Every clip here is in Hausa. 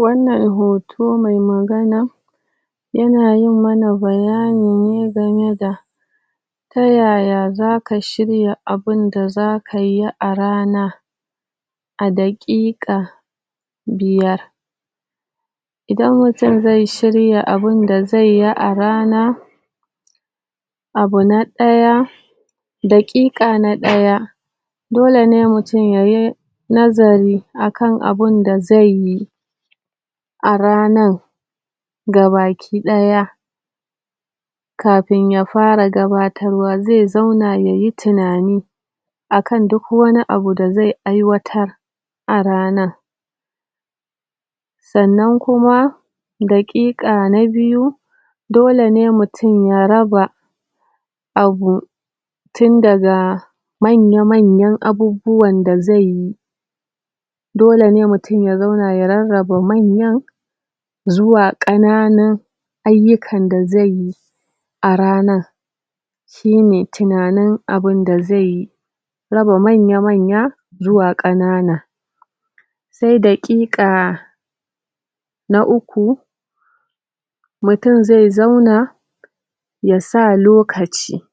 Wannan hoto mai magana ya na yin mana bayyani ne game da ta yaya za ka shirya abunda za ka yi a rana adaƙiƙa biyar idan mutum zai shirya abunda zai yi a rana abu na daya daƙiƙa na daya, dole ne mutum yayi nazari akan abunda zai yi a ranar gabakidaya kafin ya fara gabattarwa, zai zauna yayi tunani akan duk wani abu da zai aiwatar a rana. Tsannan kuma daƙiƙa na biyu dole ne mutum ya raba abu tun daga manya manya abubuwan da zai yi dole ne mutum ya zauna ya raraba manyan zuwan kananun ayukan da zai yi a ranar shi ne tunanin abunda zai yi raba manya-manya zuwa kanana sai daƙiƙa na uku mutum zai zauna ya sa lokaci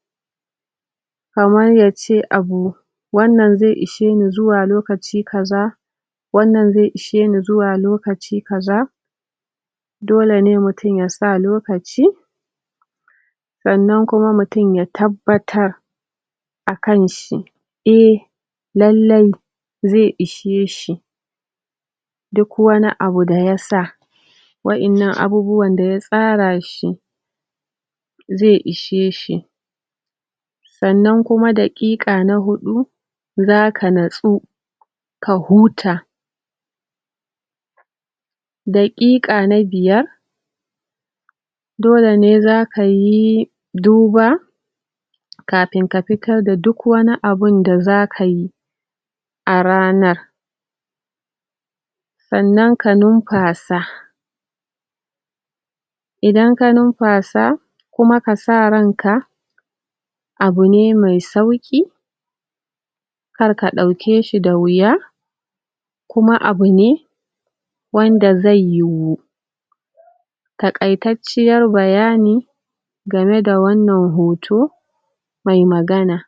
kamar yacce abu wannan zai ishe ni zuwa lokaci kaza wannan zai ishe ni zuwa lokaci kaza dole ne mutum ya sa lokaci tsannan kuma mutum ya tabbatar akan shi. Eh lallai, zai ishe shi duk wani abu da ya sa waƴannan abubuwan da ya tsara shi zai ishe shi tsannan kuma daƙiƙka na hudu za ka natsu ka huta daƙiƙka na biyar dole ne za ka yi duba kafin ka fitar da duk wani abunda za ka yi a ranar. Tsannan ka numfasa idan ka numfasa, kuma ka sa ran ka abu ne mai sauki kar ka dauke shi da wiya kuma abu ne, wanda zai yiwu takai-tacciyar bayani game da wannan hoto mai magana